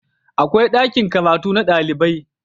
akwai ɗakin karatu na ɗalibai